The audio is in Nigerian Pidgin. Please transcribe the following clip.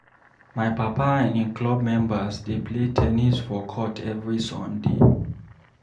My papa and im club members dey play ten nis for court every Sunday.